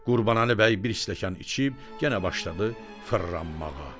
Qurbanəli bəy bir stəkan içib yenə başladı fırlanmağa.